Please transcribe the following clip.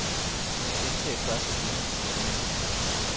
Gentag første linie i dokumentet.